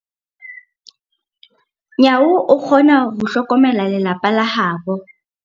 Nyawo o kgona ho hlokomela lelapa la habo.